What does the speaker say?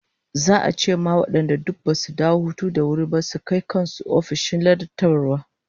Za'a ce wa duk wadanda basu dawo hutu da wuri ba su kai kan su ofishin ladabtarwa